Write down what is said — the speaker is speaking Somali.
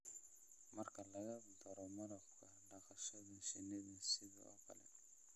Marka lagu daro malabka, dhaqashada shinnida sidoo kale